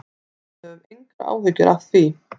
Við höfum engar áhyggjur af því.